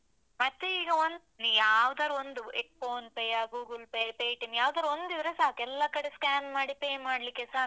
ಮತ್ತೆ ಈಗ ಒಂದ್, ಯಾವುದಾದ್ರು ಒಂದು PhonePe ಯಾ, Google Pay ಯಾ, Paytm ಯಾವುದಾದ್ರು ಒಂದಿದ್ರೆ ಸಾಕು, ಎಲ್ಲ ಕಡೆ scan ಮಾಡಿ pay ಮಾಡ್ಲಿಕ್ಕೆಸ ಆಗ್ತದೆ.